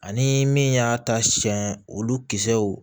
Ani min y'a ta siɲɛ olu kisɛw